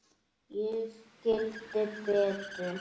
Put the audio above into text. Ég skildi Betu.